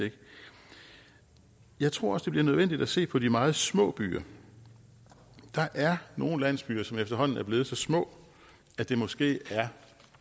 jeg tror også det bliver nødvendigt at se på de meget små byer der er nogle landsbyer som efterhånden er blevet så små at det måske er